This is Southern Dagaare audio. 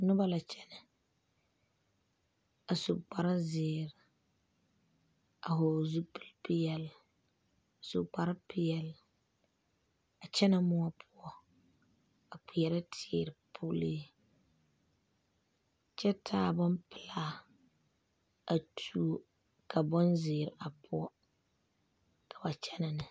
Noba la kyɛne a su kpare zeɛre , a vɔgeli zupile pɛɛle , a su kpare pɛɛle a kyɛne moɔ poɔ a kperɛ teere pulliŋ kyɛ taa bompɛlaatuo ka bonzeɛre a poɔ ka ba kyɛne ne.